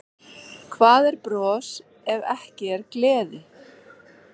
Hvað er bros ef ekki er gleði?